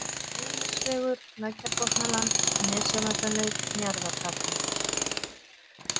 Laugarnesvegur, Lækjarbotnaland, Nesjavallaleið, Njarðargata